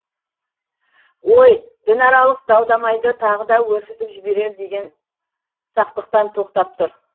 ой дінаралық дау дамайды тағы да өршітіп жіберер деген сақтықтан тоқтап тұр